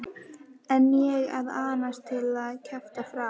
En ég að asnast til að kjafta frá.